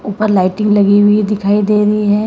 ऊपर लाइटिंग लगी हुई दिखाई दे रही है।